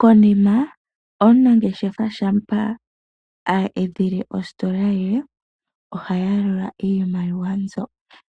Konima omunangeshefa shampa eedhile ositola ye ohaya lula iimaliwa